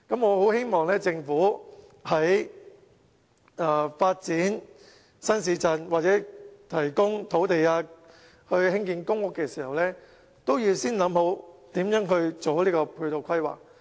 我希望政府在發展新市鎮，或者提供土地興建公屋的時候，先研究如何做好配套規劃。